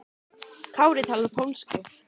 Kári talar pólsku.